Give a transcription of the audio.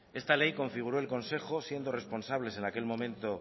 esta ley configuró el consejo siendo responsables en aquel momento